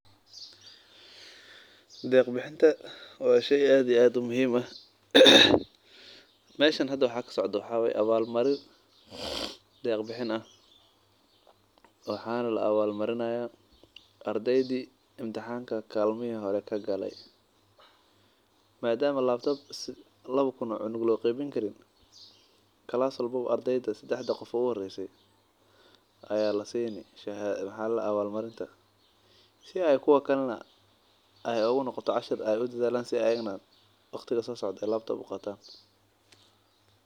Deeq bixinta waa sheey aad iyo aad muhiim u ah meeshan waxaa kasocdaa abaal marin oo lasinayo ardeyda uhoreyse si kuwa kalena aay unoqoto diiri galin si waqtiga soo socdo aay uqaatan.